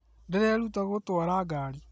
Ndĩreeruta gũtwara ngari